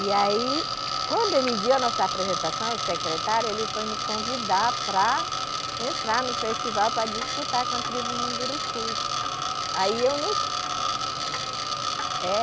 E aí, quando ele viu a nossa apresentação, o secretário, ele foi me convidar para entrar no festival para disputar com a tribo Mundurucus. aí eu festival na época só para eu entender é